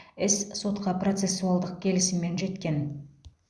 іс сотқа процессуалдық келісіммен жеткен